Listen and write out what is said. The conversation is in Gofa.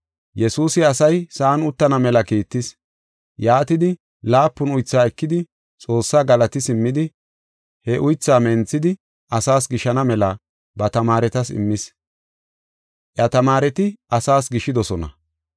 Yesuusi asay sa7an uttana mela kiittis. Yaatidi, laapun uythaa ekidi Xoossaa galati simmidi he uythaa menthidi, asaas gishana mela ba tamaaretas immis. Iya tamaareti asaas gishidosona.